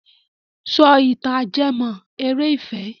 Sọ ìtàn ajẹ́mọ́- eré ìfẹ́!